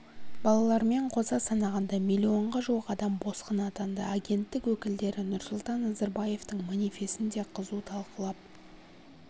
балалармен қоса санағанда миллионға жуық адам босқын атанды агенттік өкілдері нұрсұлтан назарбаевтың манифесін де қызу талқылап